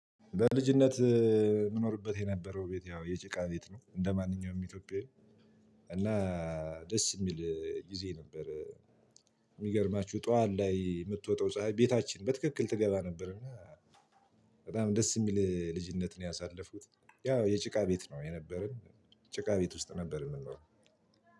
በልጅነት የምኖርበት የነበረው ቤት ያው የጭቃ ቤት ነው እንደማንኛውም ኢትዮጵያዊ እና ደስ የሚል ጊዜ ነበር። የሚገርማችሁ ጥዋት ላይ የምትወጣው ፀሀይ ቤታችን በትክክል ትገባ ነበር። እና በጣም ደስ የሚል ልጅነት ነው ያሳለፍኩት ያው የጭቃ ቤት ነው የነበረን። ጭቃ ቤት ውስጥ ነበር የምንውለው